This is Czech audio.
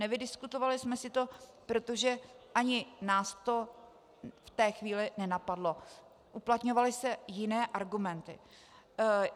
Nevydiskutovali jsme si to, protože ani nás to v té chvíli nenapadlo, uplatňovaly se jiné argumenty.